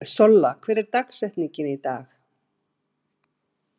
Solla, hver er dagsetningin í dag?